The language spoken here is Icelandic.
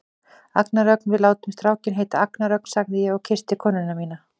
Agnar Ögn, við látum strákinn heita Agnar Ögn, sagði ég og kyssti konuna mína.